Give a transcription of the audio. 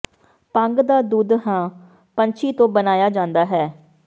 ਭੰਗ ਦਾ ਦੁੱਧ ਹੰ ਪੰਛੀ ਤੋਂ ਬਣਾਇਆ ਜਾਂਦਾ ਹੈ